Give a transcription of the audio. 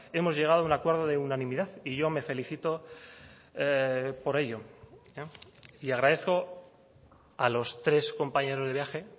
hemos llegado a un acuerdo de unanimidad y yo me felicito por ello y agradezco a los tres compañeros de viaje